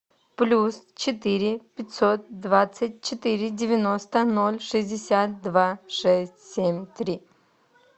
плюс четыре пятьсот двадцать четыре девяносто ноль шестьдесят два шесть семь три